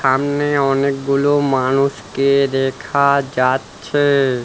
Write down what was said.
সামনে অনেকগুলো মানুষকে দেখা যাচ্ছে।